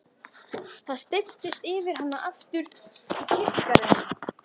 Það steyptist yfir hann aftur í kirkjugarðinum.